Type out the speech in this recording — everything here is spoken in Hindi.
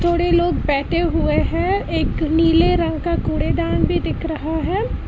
थोड़े लोग बैठे हुए हैं एक नीले रंग का कूड़ेदान भी दिख रहा है।